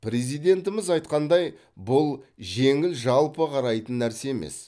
президентіміз айтқандай бұл жеңіл жалпы қарайтын нәрсе емес